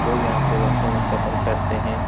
लोग यहाँ से बसो में सफर करते हैं।